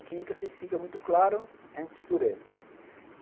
A química, se fica muito claro, a gente escurece.